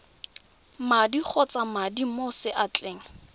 madi kgotsa madi mo seatleng